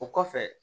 O kɔfɛ